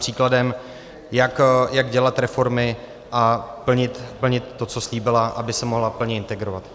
Příkladem, jak dělat reformy a plnit to, co slíbila, aby se mohla plně integrovat.